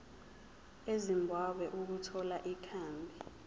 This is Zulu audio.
ezimbabwe ukuthola ikhambi